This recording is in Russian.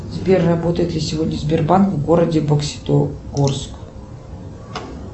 сбер работает ли сегодня сбербанк в городе бокситогорск